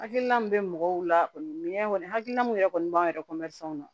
Hakilina min bɛ mɔgɔw la minɛn kɔni hakilina min yɛrɛ kɔni b'an yɛrɛ na